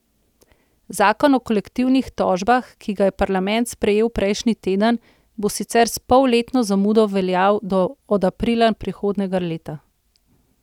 Zakon o kolektivnih tožbah, ki ga je parlament sprejel prejšnji teden, bo sicer s polletno zamudo veljal od aprila prihodnjega leta.